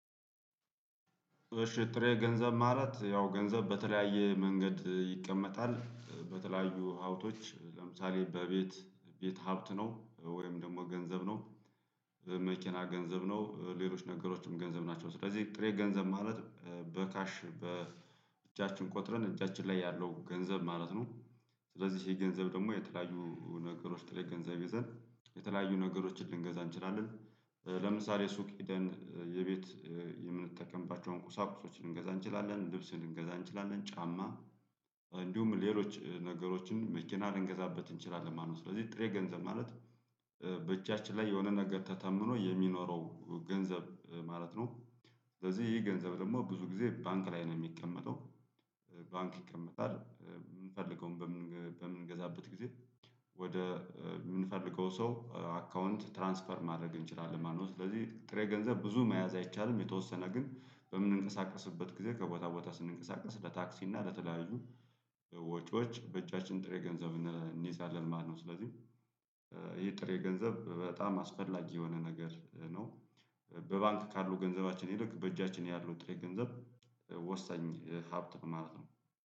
እሺ ጥሬ ገንዘብ ማለት ያው ገንዘብ በተለያየ መንገድ ይቀመጣል በተለያዩ ሀብቶች ለምሳሌ በቤት ቤት ሀብት ነው ወይም ደግሞ ገንዘብ ነው መኪና ገንዘብ ነው ሌሎች ነገሮችም ገንዘብ ናቸው ስለዚህ ጥሬ ገንዘብ ማለት በካሽ በእጃችን ቆጥረን እጃችን ላይ ያለው ገንዘብ ማለት ነው። ስለዚህ ይሄ ገንዘብ ደግሞ የተለያዩ ነገሮች ጥሬ ገንዘብ ይዘን የተለያዩ ነገሮችን ልንገዛ እንችላለን። ለምሳሌ ሱቅ ሂደን የቤት የምንጠቀምባቸውን ቁሳቁሶች ልንገዛ እንችላለን ልብስ ልንገዛ እንችላለን ጫማ እንዲሁም ሌሎች ነገሮችን መኪና ልንገዛበት እንችላለን። ማነው ስለዚህ ጥሬ ገንዘብ ማለት በእጃችን ላይ የሆነ ነገር ተተምኖ የሚኖረው ገንዘብ ማለት ነው። ስለዚህ ይሄ ገንዘብ ደግሞ ብዙ ጊዜ ባንክ ላይ ነው የሚቀመጠው። ይቀመጣል የምንፈልገውን በምንገዛበት ጊዜ ወደ የምንፈልገው ሰው አካውንት ትራንስፈር ማድረግ እንችላለን ማለት ነው። ስለዚህ ጥሬ ገንዘብ ብዙ መያዝ አይቻልም የተወሰነ ግን በምንንቀሳቀስበት ጊዜ ከቦታ ቦታ ስንንቀሳቀስ ለታክሲ እና ለተለያዩ ወጪዎች በእጃችን ጥሬ ገንዘብ እንይዛለን ማለት ነው። ስለዚህ ይሄ ጥሬ ገንዘብ በጣም አስፈላጊ የሆነ ነገር ነው። በባንክ ካሉ ገንዘባችን ይልቅ በእጃችን ያለው ጥሬ ገንዘብ ወሳኝ ሀብት ማለት ነው